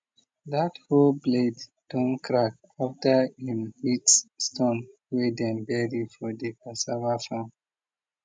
dat hoe blade don crack after em hit stone way dem bury for de cassava farm